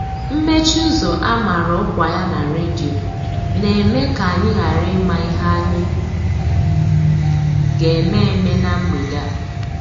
Mmechi ụzọ a mara ọkwa ya na redio na-eme ka anyị ghara ịma ihe anyị ga-eme eme na mgbede a.